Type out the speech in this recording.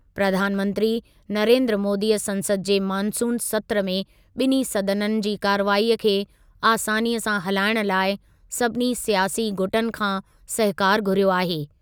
प्रधानमंत्री नरेन्द्र मोदीअ संसद जे मानसून सत्रु में ॿिन्हीं सदननि जी कार्रवाईअ खे आसानीअ सां हलाइण लाइ सभिनी स्यासी गुटनि खां सहकारु घुरियो आहे।